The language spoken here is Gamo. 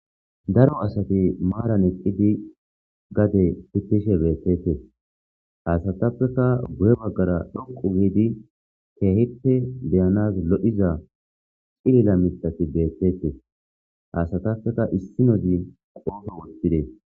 daro asati maaran eqqidi gade titishe beetetes haasatappeka gu7e baggara dhonqu wiidi keehippe beyanas lo7iza cilila mixati beetetes haasatappeka issinozi qoofo wottide